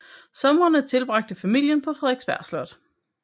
Somrene tilbragte familien på Frederiksberg Slot